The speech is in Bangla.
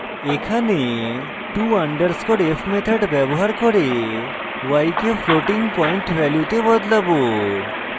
এখানে to _ f method ব্যবহার করে y কে floating পয়েন্ট ভ্যালুতে বদলাবো